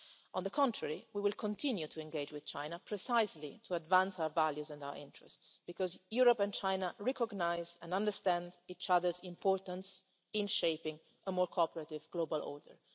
that. On the contrary, we will continue to engage with China precisely to advance our values and our interests, because Europe and China recognise and understand each other's importance in shaping a more cooperative global